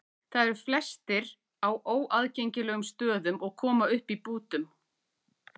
Þær eru flestar á óaðgengilegum stöðum og koma upp í bútum.